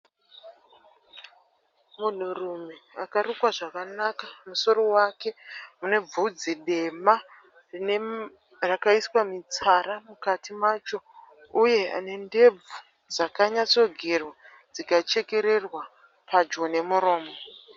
Munhu rume akarukwa zvakanaka musoro wake une bvudzi dema rakaiswa mutsara mukati macho. Uye ne ndebvu dzakanyatso gerwa dzikachekererwa padyo nemuromo.